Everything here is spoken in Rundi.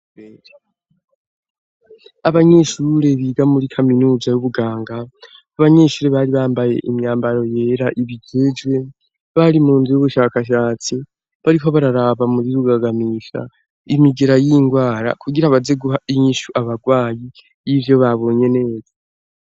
Abanyeshure biga muri kaminuza y'ubuganga ,abanyeshure bari bambaye imyambaro yera ibigejwe ,bari mu nzu y'ubushakashatsi bariko bararaba muri rugagamisha ,imigera y'ingwara kugira baze guha inyishu abagwayi y'ivyo babonye neza.